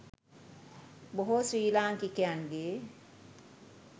බොහෝ ශ්‍රී ලාංකිකයන්ගේ